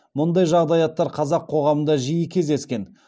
мұндай жағдаяттар қазақ қоғамында жиі кездескен